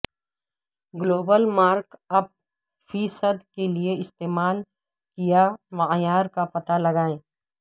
global markup فی صد کے لئے استعمال کیا معیار کا پتہ لگائیں